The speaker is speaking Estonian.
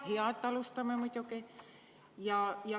Hea, et üldse alustame, muidugi.